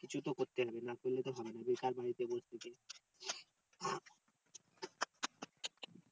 কিছু তো করতে হবে না করতে হবে না বেকার বাড়িতে বসে থেকে